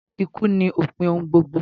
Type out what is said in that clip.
Ikú ni opin ohun gbogbo